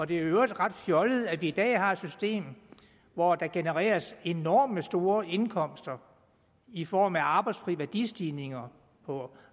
det er i øvrigt ret fjollet at vi i dag har et system hvor der genereres enormt store indkomster i form af arbejdsfri værdistigninger på